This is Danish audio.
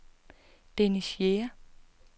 Dennis Jæger